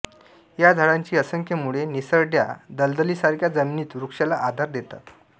या झाडाची असंख्य मुळे निसरड्या दलदलीसारख्या जमिनीत वृक्षाला आधार देतात